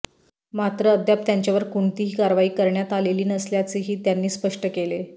मात्र अद्याप त्यांच्यावर कोणतीही कारवाई करण्यात आलेली नसल्याचेही त्यांनी स्पष्ट केले